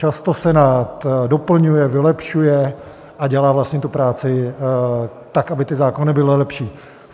Často Senát doplňuje, vylepšuje a dělá vlastně tu práci tak, aby ty zákony byly lepší.